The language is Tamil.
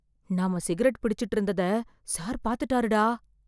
நாம சிகரெட் பிடிச்சுட்டு இருந்ததை சார் பாத்துட்டாருடா...